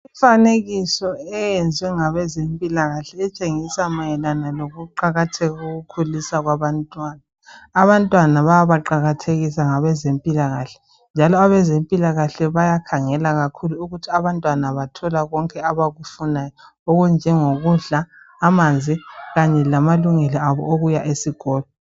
Imfanekiso eyenziwe ngabe zempilakahle etshengisa mayelana ngokuqakatheka koku khuliswa kwabantwana, abantwana bayabaqakathekisa ngabe zempilakahle njalo abezempilakahle bayakhangela kakhulu ukuthi abantwana bathola konke abakufunayo okunjengokudla, amanzi kanye lamalungelo abo okuya esikolo.